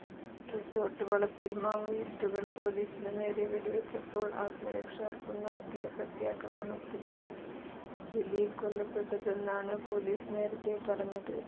resort വളപ്പിൽ മാവോയിസ്റ്റുകൾ പോലീസിനു നേരെ വെടിവെച്ചപ്പോൾ ആത്മരക്ഷാർഥം നടത്തിയ പ്രത്യാക്രമണത്തിലാണ് ജലീൽ കൊല്ലപ്പെട്ടതെന്നാണ് പോലീസ് നേരത്തേ പറഞ്ഞത്